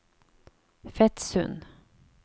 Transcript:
Fetsund